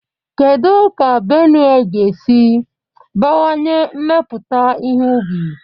Kedu ka Benue ga-esi bawanye mmepụta ihe ubi?